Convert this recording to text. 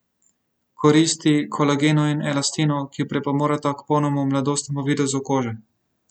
Koristi kolagenu in elastinu, ki pripomoreta k polnemu, mladostnemu videzu kože.